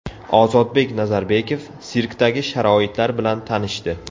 Ozodbek Nazarbekov sirkdagi sharoitlar bilan tanishdi.